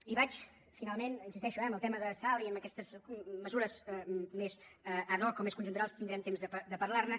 i vaig finalment hi insisteixo eh en el tema de salt i en aquestes mesures més ad hoc o més conjunturals tindrem temps de parlar ne